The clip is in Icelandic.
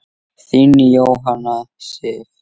Þín, Jóhanna Sif.